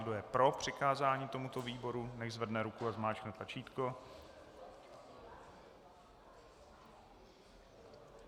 Kdo je pro přikázání tomuto výboru, nechť zvedne ruku a zmáčkne tlačítko.